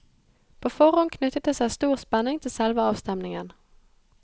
På forhånd knyttet det seg stor spenning til selve avstemningen.